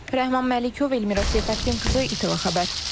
Rəhman Məlikov, Elmira Seyfəddinqızı, İTV Xəbər.